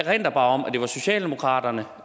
erindre om at det var socialdemokraterne